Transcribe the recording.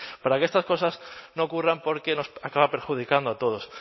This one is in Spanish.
para que estas cosas no ocurran porque nos acaban perjudicando a todos